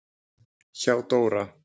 Hjá Dóra